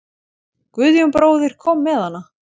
Guðjón bróðir kom með hana.